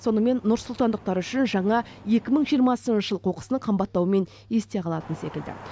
сонымен нұрсұлтандықтар үшін жаңа екі мың жиырмасыншы жыл қоқыстың қымбаттауымен есте қалатын секілді